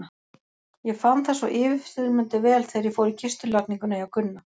Ég fann það svo yfirþyrmandi vel þegar ég fór í kistulagninguna hjá Gunna.